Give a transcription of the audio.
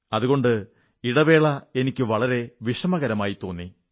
അതുകൊണ്ട് ഇടവേള എനിക്കു വളരെ വിഷമകരമായി തോന്നി